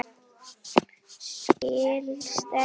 Skilst enskan betur?